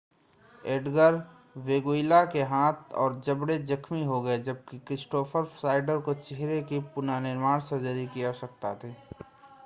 Edgar Veguilla के हाथ और जबड़े जख्मि हो गये जबकि क्रिस्टोफ़र श्नाइडर को चेहरे की पुनर्निर्माण सर्जरी की आवश्यकता थी